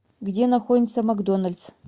где находится макдоналдс